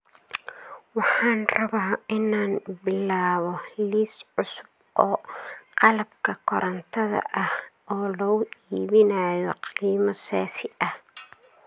Waxaan rabaa inaan bilaabo liis cusub oo qalabka korantada ah oo lagu iibinayo qiimo saafi ah